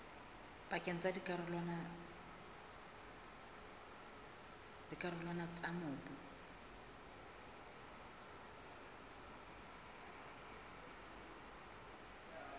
pakeng tsa dikarolwana tsa mobu